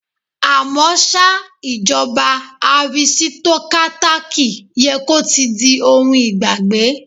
À mọ́ ṣá, ìjọba arisitokátákì yẹ kó ti di ohun ìgbàgbé.